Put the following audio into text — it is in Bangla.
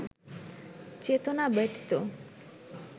চেতনা ব্যতীত